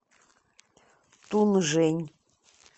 тунжэнь